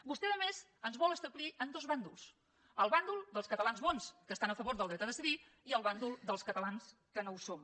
vostè a més ens vol establir en dos bàndols el bàndol dels catalans bons que estan a favor del dret a decidir i el bàndol dels catalans que no ho som